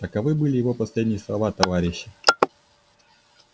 таковы были его последние слова товарищи